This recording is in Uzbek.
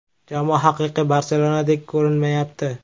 Jamoa haqiqiy “Barselona”dek ko‘rinmayapti.